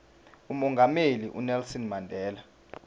umongameli unelson mandela